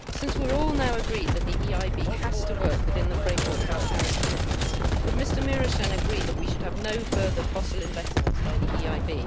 Since we are all now agreed that the EIB has to work within the framework of our Paris commitments, would Mr Mureşan agree that we should have no further fossil investments by the EIB?